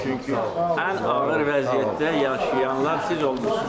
Çünki ən ağır vəziyyətdə yaşayanlar siz olmusunuz.